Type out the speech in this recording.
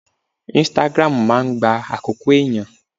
Instagram máa ń gba àkókò ẹ̀yàn.